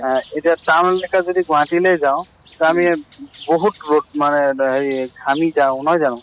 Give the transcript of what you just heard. আহ এতিয়া town জেগা যদি গুৱাহাটীলৈ যাওঁ, আমি বহুত ৰʼদ মানে দ হেৰি ঘামি যাওঁ, নহয় জানো?